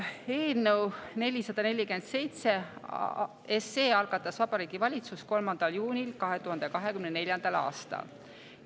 Eelnõu 447 algatas Vabariigi Valitsus 3. juunil 2024. aastal.